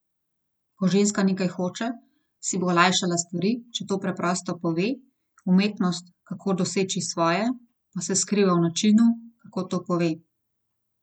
Ko ženska nekaj hoče, si bo olajšala stvari, če to preprosto pove, umetnost, kako doseči svoje, pa se skriva v načinu, kako to pove.